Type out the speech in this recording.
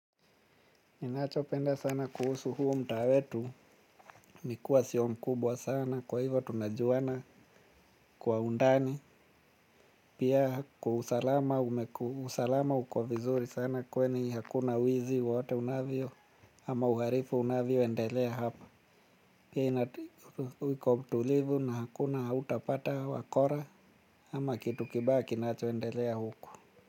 Ninachopenda sana kuhusu huu mtaa wetu ni kuwa sio mkubwa sana kwa hivyo tunajuana kwa undani pia usalama uko vizuri sana kwani hakuna wizi wowote unavyo ama uhalifu unavyoendelea hapa pia iko tulivu na hakuna hautapata wakora ama kitu kibaya kinachoendelea huku.